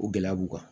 O gɛlɛya b'u kan